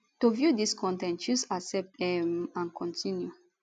to view dis con ten t choose accept um and continue